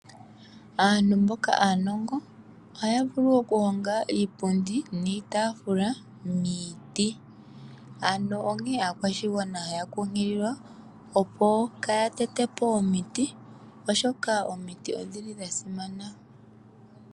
Aantu mboka aanongo ohaya vulu okuhonga iipundi niitaafula miiti, ano onkee aakwashigwana taya kunkulilwa opo kaya tetepo omiti, oshoka omiti odhili dhasimana.